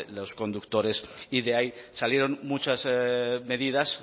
los conductores y de ahí salieron muchas medidas